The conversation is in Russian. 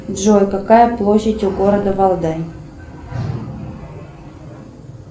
джой какая площадь у города валдай